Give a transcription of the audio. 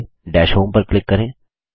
पहले दश होम पर क्लिक करें